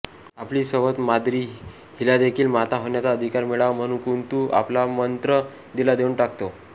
आपली सवत माद्री हिलादेखील माता होण्याचा अधिकार मिळावा म्हणून कुंति आपला मंत्र तिला देऊन टाकते